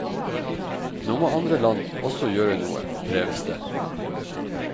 Nå må andre land også gjøre noe, kreves det.